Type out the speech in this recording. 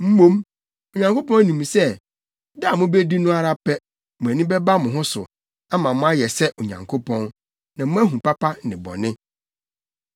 Mmom, Onyankopɔn nim sɛ, da a mubedi no ara pɛ, mo ani bɛba mo ho so, ama moayɛ sɛ Onyankopɔn, na moahu papa ne bɔne.”